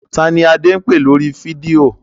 Ta ni Adé ń pè lórí fídíò?